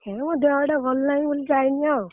ହେ ମୋ ଦେହ ଟା ଭଲ ନାହଁ ବୋଲି ଯାଇନି ଆଉ।